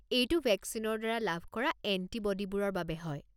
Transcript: এইটো ভেকচিনৰ দ্বাৰা লাভ কৰা এণ্টিব'ডিবোৰৰ বাবে হয়।